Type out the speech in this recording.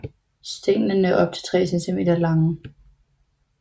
Stænglerne er op til 3 cm lange